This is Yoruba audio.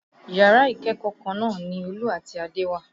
Yàrá ìkẹ́kọ̀ọ́ kan náà ni Olú àti Adé wà